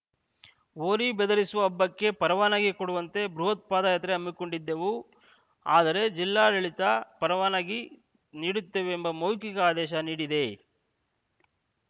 ಹೋರಿ ಬೆದರಿಸುವ ಹಬ್ಬಕ್ಕೆ ಪರವಾನಗಿ ಕೊಡುವಂತೆ ಬೃಹತ್‌ ಪಾದಯಾತ್ರೆ ಹಮ್ಮಿಕೊಂಡಿದ್ದೆವು ಆದರೆ ಜಿಲ್ಲಾ ಆಡಳಿತ ಪರವಾನಗಿ ನೀಡುತ್ತೇವೆಂಬ ಮೌಖಿಕ ಆದೇಶ ನೀಡಿದೆ